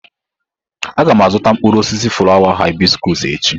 Aga m azụta mkpụrụ osisi ifuru hibiscos echi.